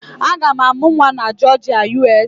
Aga m amụ nwa na Jọọjịa, USA